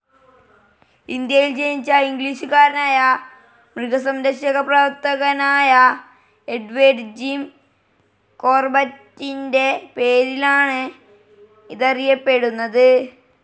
ഇന്ത്യയിൽ ജനിച്ച ഇംഗ്ലീഷുകാരനായ മൃഗസംരക്ഷകപ്രവർത്തകനായ എഡ്വേഡ് ജിം കോർബറ്റിൻ്റെ പേരിലാണ് ഇതറിയപ്പെടുന്നത്.